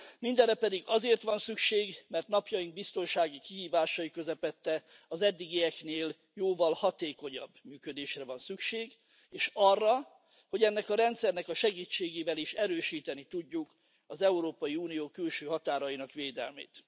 Minderre pedig azért van szükség, mert napjaink biztonsági kihívásai közepette az eddigieknél jóval hatékonyabb működésre van szükség, és arra, hogy ennek a rendszernek a segítségével is erősíteni tudjuk az Európai Unió külső határainak védelmét.